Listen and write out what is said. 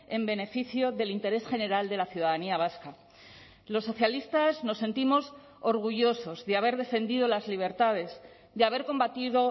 en beneficio del interés general de la ciudadanía vasca los socialistas nos sentimos orgullosos de haber defendido las libertades de haber combatido